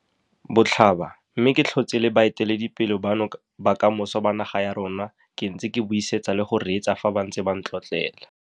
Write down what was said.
Botlhaba, mme ke tlhotse le baeteledipele bano ba kamoso ba naga ya rona ke ntse ke ba buisetsa le go reetsa fa ba ntse ba ntlotlela.